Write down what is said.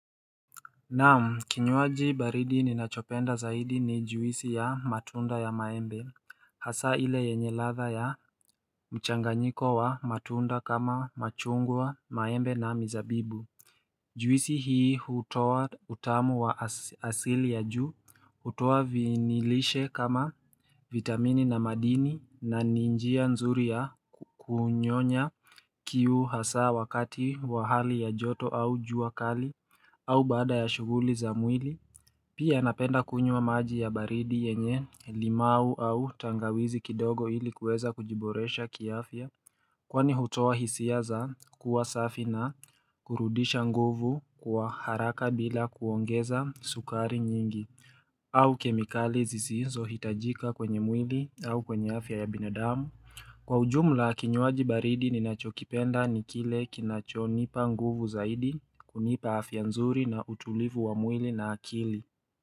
Nam kinywaji baridi ninachopenda zaidi ni juisi ya matunda ya maembe Hasa ile yenye ladha ya mchanganyiko wa matunda kama machungwa maembe na mizabibu Juisi hii hutowa utamu wa asili ya juu hutowa vinilishe kama vitamini na madini na ninjia nzuri ya kunyonya kiu hasa wakati wa hali ya joto au jua kali au baada ya shughuli za mwili Pia napenda kunywa maji ya baridi yenye limau au tangawizi kidogo ili kuweza kujiboresha kiafya Kwani hutoa hisia za kuwa safi na kurudisha nguvu kwa haraka bila kuongeza sukari nyingi au kemikali zisizo hitajika kwenye mwili au kwenye afya ya binadamu Kwa ujumla kinywaji baridi ninachokipenda nikile kinacho nipa nguvu zaidi kunipa afyanzuri na utulivu wa mwili na akili.